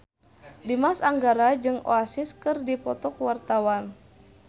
Dimas Anggara jeung Oasis keur dipoto ku wartawan